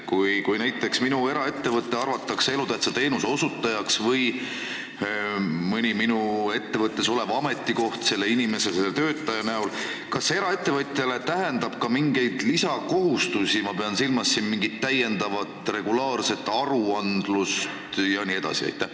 Kui näiteks eraettevõte arvatakse elutähtsa teenuse osutajaks või saab selleks mõnel ettevõttes oleval ametikohal töötav inimene, siis kas see tähendab eraettevõtjale ka mingeid lisakohustusi, ma pean silmas täiendavat regulaarset aruandlust jne?